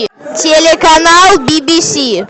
телеканал би би си